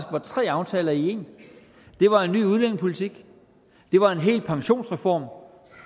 var tre aftaler i en det var en ny udlændingepolitik det var en hel pensionsreform